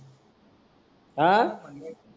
हा